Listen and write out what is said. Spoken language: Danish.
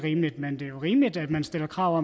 stille krav og